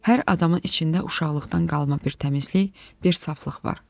Hər adamın içində uşaqlıqdan qalma bir təmizlik, bir saflıq var.